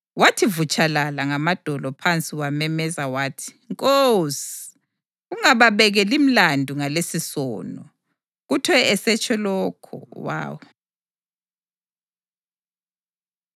Wathi vutshalala ngamadolo phansi wamemeza wathi, “Nkosi, ungababekeli mlandu ngalesisono.” Kuthe esetsho lokho, walala.